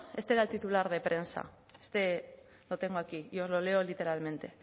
este era el titular de prensa este lo tengo aquí y os lo leo literalmente